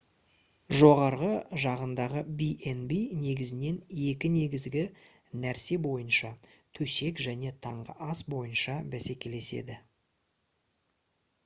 жоғарғы жағындағы b&b негізінен екі негізгі нәрсе бойынша төсек және таңғы ас бойынша бәсекелеседі